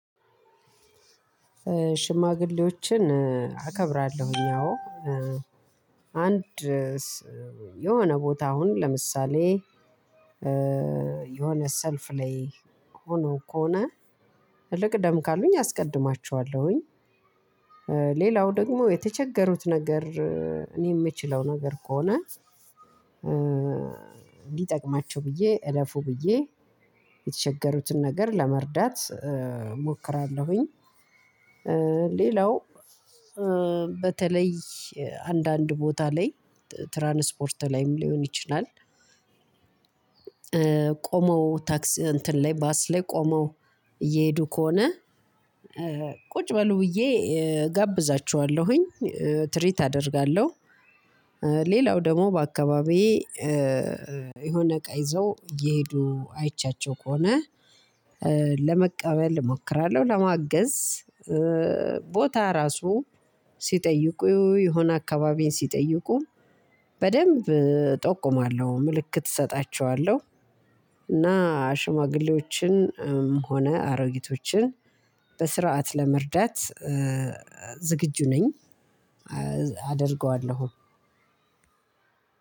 ሽማግሌዎችን አከብራለሁ እኛው አንድ የሆነ ቦታ አሁን ለምሳሌ የሆነ ሰልፍ ላይ ሆኖ ከሆነ ልቅደም ካሉኝ አስቀድማቸዋለሁኝ። ሌላው ደግሞ የተቸገሩት ነገር የምችለው ነገር ከሆነ ሊጠቅማቸው ብዬ እረፉ ብዬ የተቸገሩትን ነገር ለመርዳት እሞክራለሁኝ። ሌላው በተለይ አንዳንድ ቦታ ላይ ትራንስፖርት ላይም ሊሆን ይችላል። ቆመው ታክስ እንትን ላይ ባስ ላይ ቆመው እየሄዱ ከሆነ ቁጭ በሉ ብዬ እጋብዛችኋለሁኝ ትሪት አደርጋለሁ። ሌላው ደግሞ በአካባቢዬ የሆነ እቃ ይዘው እየሄዱ አይቻቸው ከሆነ ለመቀበል እሞክራለሁ ለማገዝ ቦታ ራሱ ስጠይቁ የሆነ አከባቢ ስጠይቁ በደንድ ጠቁማለው ምልክት ሰጣቸዋለው። እና ሽማግሌዎችንም ሆነ አሮጊቶችን በስርዓት ለመርዳት ዝግጁ ነኝ አደርገዋለሁ።